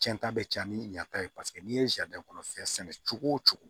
Cɛn ta bɛ ca ni ɲɛ ta ye paseke n'i ye kɔnɔ fɛn sɛnɛ cogo o cogo